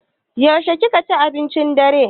Yaushe ka ci abincin dare?